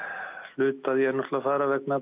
hluti af því er að fara vegna